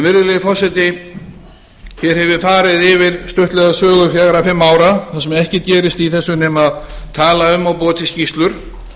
virðulegi forseti hér hef ég farið stuttlega yfir sögu fjögurra til fimm ára þar sem ekkert gerist í þessu nema tala um og búa til skýrslur